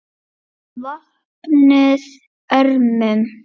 VOPNUÐ ÖRMUM